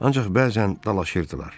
Ancaq bəzən dalaşırdılar.